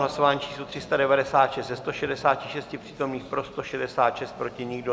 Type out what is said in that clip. Hlasování číslo 396, ze 166 přítomných pro 166, proti nikdo.